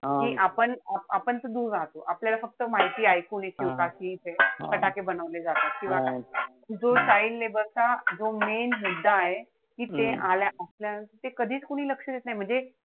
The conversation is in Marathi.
कि आपण आपण त दूर राहतो. आपल्याला फक्त माहिती ऐकू येते. बाकी काई फटाके बनवले जातात. किंवा जो child labor चा जो main मुद्दा आहे. कि ते आल्या कधीच कोणी लक्ष देत नाई. म्हणजे,